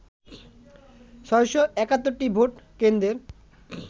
৬৭১ টি ভোট কেন্দ্রের